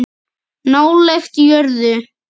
Nálægt jörðu